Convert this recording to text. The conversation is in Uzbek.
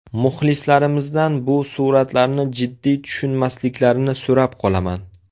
Muxlislarimizdan bu suratlarni jiddiy tushunmasliklarini so‘rab qolaman.